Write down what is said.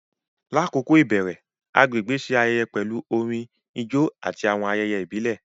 Lakoko ibẹrẹ, agbegbe ṣe ayẹyẹ pẹlu orin, ijó, ati awọn ayẹyẹ ibile.